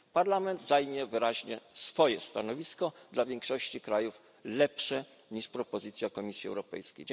Parlament zajmie wyraźnie własne stanowisko, dla większości krajów lepsze niż propozycja Komisji Europejskiej.